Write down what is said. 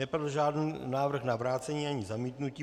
Nepadl žádný návrh na vrácení ani zamítnutí.